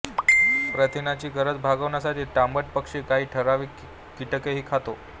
प्रथिनांची गरज भागवण्यासाठी तांबट पक्षी काही ठरावीक कीटकही खातो